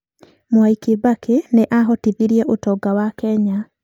Mwai Kibaki nĩ aahotithirie ũtonga wa Kenya.